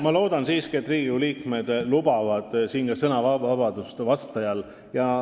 Ma loodan siiski, et Riigikogu liikmed lubavad siin ka vastajale sõnavabadust.